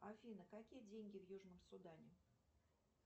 афина какие деньги в южном судане